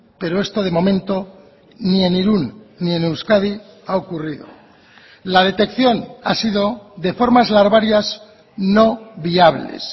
pero esto de momento ni en irún ni en euskadi ha ocurrido la detección ha sido de formas larvarias no viables